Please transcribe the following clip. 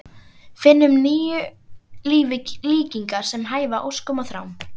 Finna nýju lífi líkingar sem hæfa óskum og þrám.